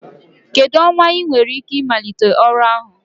Kedu ọnwa ị nwere ike ịmalite ọrụ ahụ?